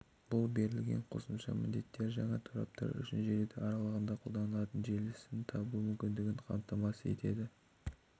бұл берілген қосымша міндеттері жаңа тораптар үшін желі аралығында қолданылатын желісін табу мүмкіндігін қамтамасыз етеді